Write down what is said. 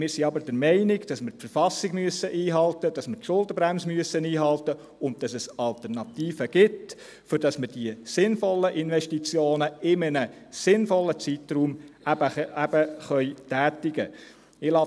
Wir sind aber der Meinung, dass wir die Verfassung einhalten müssen, dass wir die Schuldenbremse einhalten müssen, und dass es Alternativen gibt, damit wir die sinnvollen Investitionen in einem sinnvollen Zeitraum tätigen können.